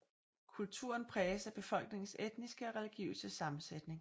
Kulturen præges af befolkningens etniske og religiøse sammensætning